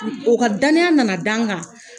O ka dananiya nana dan an kan.